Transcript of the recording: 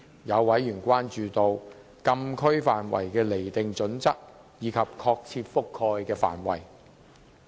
有委員關注禁區範圍的釐定準則及確切的覆蓋範圍。